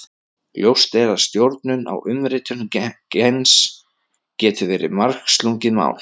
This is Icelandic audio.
Ljóst er að stjórnun á umritun gens getur verið margslungið mál.